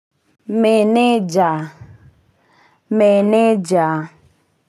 Meneja meneja.